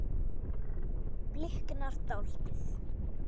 Bliknar dáldið.